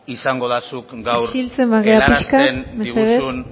izango da zuk gaur isiltzen bagara pixka bat mesedez helarazten diguzun